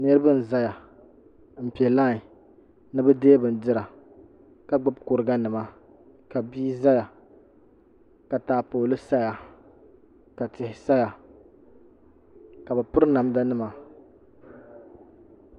Niriba zaya npɛ lai ni diɛ bindira ka gbubi kuriga nima ka bia zaya ka taapoli saya ka tihi saya ka bɛ piri namda nima